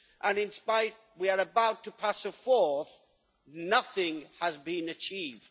and in spite of the fact that we are about to pass a fourth, nothing has been achieved.